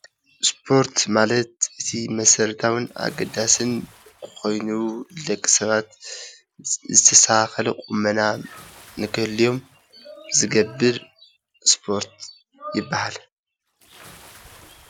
እስፖርት ማለት እቲ መሰረታውን ኣገዳስን ኮይኑ ደቂ ሰባት ዝተስተከከለ ቁመና ንክህልዮም ዝገብር እስፖርት ይባሃል፡፡